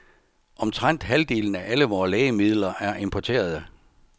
Omtrent halvdelen af alle vore lægemidler er importerede.